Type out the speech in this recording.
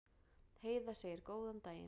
Heiða segir góðan daginn!